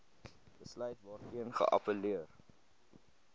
besluit waarteen geappelleer